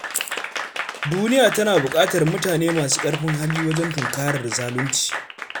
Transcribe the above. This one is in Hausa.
Duniya tana buƙatar mutane masu ƙarfin hali wajen tunkarar zalunci.